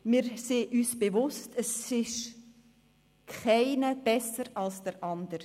Wir sind uns bewusst, dass keiner besser ist als der andere.